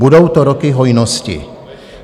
Budou to roky hojnosti.